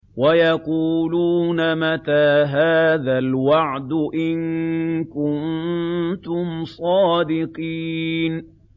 وَيَقُولُونَ مَتَىٰ هَٰذَا الْوَعْدُ إِن كُنتُمْ صَادِقِينَ